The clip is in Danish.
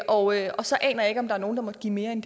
og og så aner jeg ikke om der er nogle der giver mere end